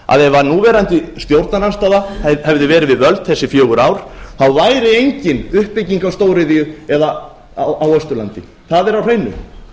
að ef núverandi stjórnarandstaða hefði verið við völd síðustu fjögur ár væri engin uppbygging á stóriðju á austurlandi það er á hreinu